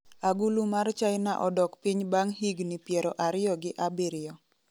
Agulu mar China odok piny bang' higni 27